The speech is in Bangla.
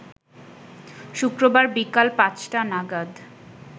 শুক্রবার বিকাল পাঁচটা নাগাদ